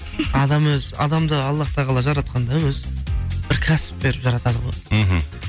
адам өзі адамды аллах тағала жаратқанда өзі бір кәсіп беріп жаратады ғой мхм